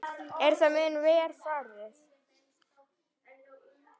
Er það mun verr farið.